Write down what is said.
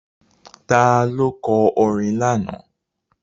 Ta ló kọ orin lánàá?